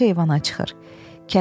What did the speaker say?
Nadinka eyvana çıxır.